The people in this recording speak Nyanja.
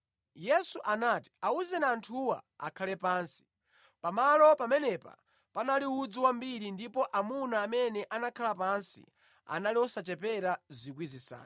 Yesu anati, “Awuzeni anthuwa akhale pansi.” Pamalo pamenepa panali udzu wambiri ndipo amuna amene anakhala pansi anali osachepera 5,000.